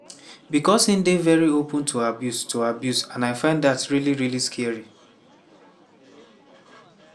becos e dey veri open to abuse to abuse and i find dat really really scary."